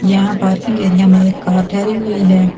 यह parking area मे एक कार ठहरी हुई हैं।